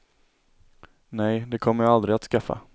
Nej, det kommer jag aldrig att skaffa.